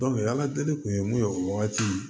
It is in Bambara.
ala deli kun ye mun ye o wagati